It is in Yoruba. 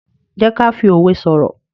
jé ká fí òwe soro.